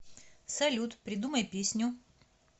салют придумай песню